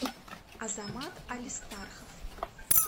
азамат алистархов